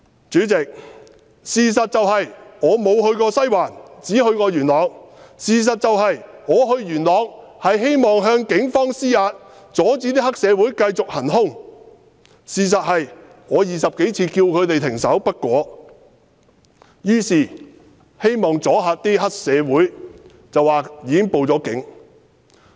主席，事實是我沒有去過西環，只去過元朗；事實是我去元朗，是希望向警方施壓，要他們阻止黑社會行兇；事實是我20多次叫停黑社會分子不果，於是希望阻嚇他們，說已報了警。